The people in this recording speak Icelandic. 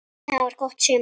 Það var gott sumar.